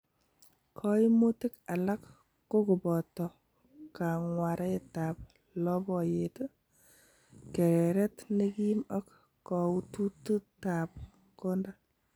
Koimutik alak kokoboto kang'waretab loboyet, kereret nekim ak koutututab konda.